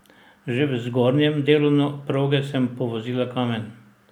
Že v zgornjem delu proge sem povozila kamen.